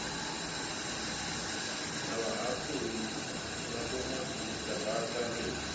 na vhahaṱuli na vhomadzhisiṱiraṱa ri